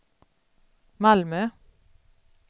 Malmö